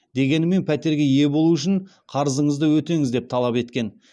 дегенмен пәтерге ие болу үшін қарызыңызды өтеңіз деп талап еткен